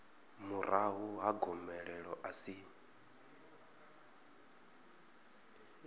murahu ha gomelelo a si